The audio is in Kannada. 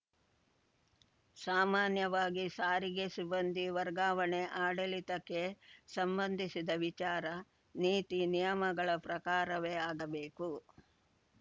ಸಾಮಾನ್ಯವಾಗಿ ಸಾರಿಗೆ ಸಿಬ್ಬಂದಿ ವರ್ಗಾವಣೆ ಆಡಳಿತಕ್ಕೆ ಸಂಬಂಧಿಸಿದ ವಿಚಾರ ನೀತಿನಿಯಮಗಳ ಪ್ರಕಾರವೇ ಆಗಬೇಕು